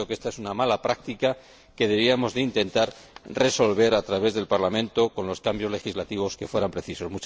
Creo que esta es una mala práctica que deberíamos intentar resolver a través del Parlamento con los cambios legislativos que fueran precisos.